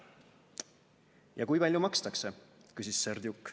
"Ja kui palju makstakse," küsis Serdjuk.